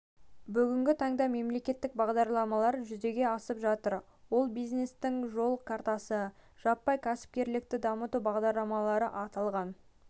бүгінгі таңда мемлекеттік бағдарламалар жүзеге асып жатыр олар бизнестің жол картасы жаппай кәсіпркерлікті дамыту бағдарламалары аталған